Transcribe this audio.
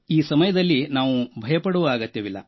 ಈ ಸಮಯದಲ್ಲಿಯೂ ನಾವು ಭಯಪಡುವ ಅಗತ್ಯವಿಲ್ಲ